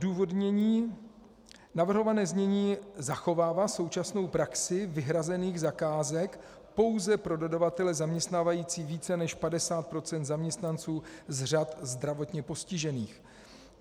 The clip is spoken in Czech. Odůvodnění: Navrhované znění zachovává současnou praxi vyhrazených zakázek pouze pro dodavatele zaměstnávající více než 50 % zaměstnanců z řad zdravotně postižených.